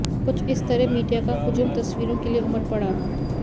कुछ इस तरह मीडिया का हुजुम तस्वीरों के लिए उमर पड़ा